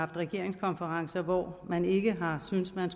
regeringskonferencer hvor man ikke har syntes man